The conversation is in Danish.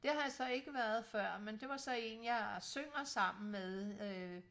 Det har jeg så ikke været før men det var så en jeg synger sammen med øh